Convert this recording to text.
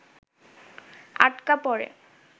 আটকা পড়ে